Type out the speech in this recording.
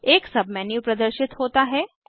एक सबमेन्यू प्रदर्शित होता है